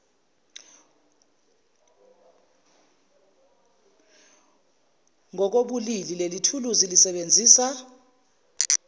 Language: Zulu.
ngokobulili lelithuluzi lisebenzisa